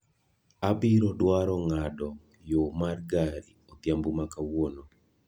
Abiro dwaro ng'ado yo mar gari odhiambo ma kawuono